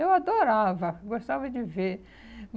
Eu adorava, gostava de ver.